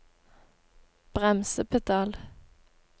bremsepedal